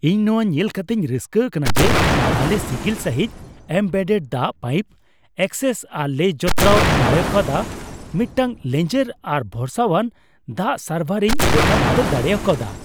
ᱤᱧ ᱱᱚᱣᱟ ᱧᱮᱞ ᱠᱟᱛᱤᱧ ᱨᱟᱹᱥᱠᱟᱹ ᱟᱠᱟᱱᱟ ᱡᱮ, ᱟᱞᱮ ᱥᱤᱜᱤᱞ ᱥᱟᱹᱦᱤᱡ ᱮᱢᱵᱮᱰᱰᱮᱰ ᱫᱟᱜ ᱯᱟᱭᱤᱯ ᱮᱠᱥᱮᱥ ᱟᱨ ᱞᱮ ᱡᱚᱛᱨᱟᱣ ᱫᱟᱲᱮᱠᱟᱣᱫᱟ, ᱢᱤᱫᱴᱟᱝ ᱞᱮᱸᱡᱮᱨ ᱟᱨ ᱵᱷᱚᱨᱥᱟᱣᱟᱱ ᱫᱟᱜ ᱥᱟᱨᱵᱷᱟᱨ ᱤᱧ ᱜᱚᱴᱟᱼᱵᱩᱴᱟᱹ ᱫᱟᱲᱮ ᱠᱟᱣᱫᱟ ᱾